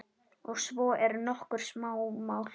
Og svo eru nokkur smámál.